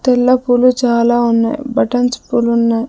తెల్ల పులు చాలా ఉన్నాయి బటన్స్ పులు ఉన్నాయి.